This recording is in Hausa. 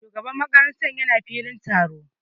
Shugaban makaranta ya na filin taro